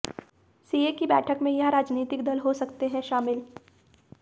CA की बैठक में यह राजनीतिक दल हो सकते हैं शामिल